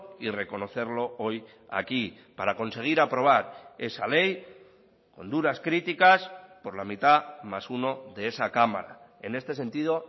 y reconocerlo hoy aquí para conseguir aprobar esa ley con duras críticas por la mitad más uno de esa cámara en este sentido